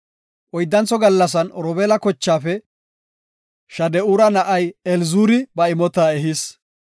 Oyddantho gallasan Robeela, kochaafe Shade7ura na7ay Elizuuri ba imota ehis.